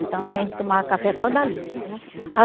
Então a gente tomava café só dali.